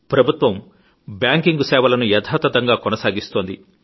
ప్రభుత్వం బ్యాంకింగ్ సేవలను యధాతధంగా కొనసాగిస్తోంది